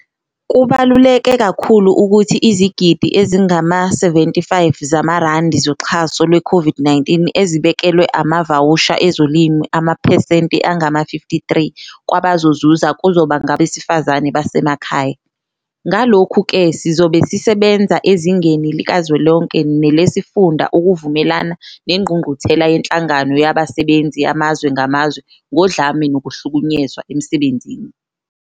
Kubaluleke kakhulu ukuthi izigidi ezingama-75 zamarandi zoxha so lweCOVID-19 ezibekelwe amavawusha ezolimo amaphesenti angama-53 kwabazozuza kuzoba ngabesifazane basemakhaya. Ngalokhu-ke, sizobe sise benza ezingeni likazwelonke nelesifunda ukuvumelana neNgqungquthela yeNhlangano Yabasebenzi Yamazwe Ngamazwe Ngodlame Nokuhlukunyezwa Emsebenzini.